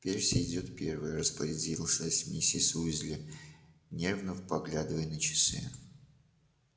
перси идёт первый распорядилась миссис уизли нервно поглядывая на часы